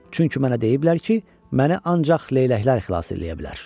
Çünki mənə deyiblər ki, məni ancaq leyləklər xilas eləyə bilər.